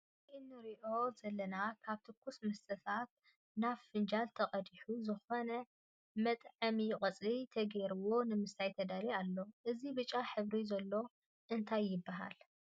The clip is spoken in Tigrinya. ኣብዚ እንሪኣ ዘለና ካብ ትኩስ መስተታት ናብ ፍንጃል ተቀዲሓ ዝኮነ መጥዐሚ ቆፅሊ ተገይሩላ ንምስታይ ተዳልዩ ኣሎ። እዚ ብጫ ሕብሪ ዘሎ እንታይ ይበሃል ?